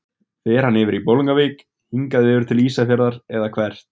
Fer hann yfir í Bolungarvík, hingað yfir til Ísafjarðar eða hvert?